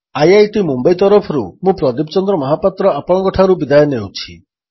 IIT Mumbai ତରଫରୁ ମୁଁ ପ୍ରଦୀପ ଚନ୍ଦ୍ର ମହାପାତ୍ର ଆପଣଙ୍କଠାରୁ ବିଦାୟ ନେଉଛି